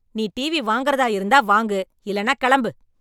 நீ டிவி வாங்கறதா இருந்தா வாங்கு , இல்லன்னா கெளம்பு !